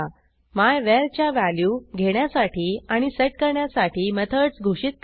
my var च्या value घेण्यासाठी आणि सेट करण्यासाठी मेथडस घोषित करा